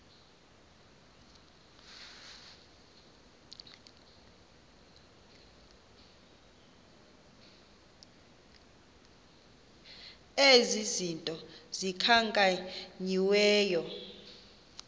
ezi zinto zikhankanyiweyo